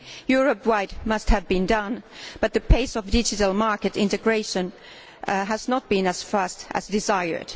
Europe wide much has been done, but the pace of digital market integration has not been as fast as desired.